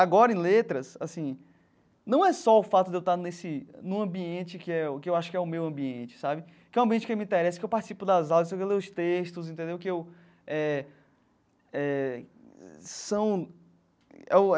Agora, em letras, assim não é só o fato de eu estar nesse num ambiente que é que eu acho que é o meu ambiente sabe, que é um ambiente que me interessa, que eu participo das aulas, que eu leio os textos entendeu que eu é é são é o.